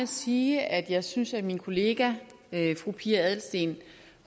sige at jeg synes at min kollega fru pia adelsteen